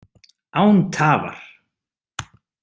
Án tafar!